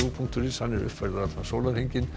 punktur is er uppfærður allan sólarhringinn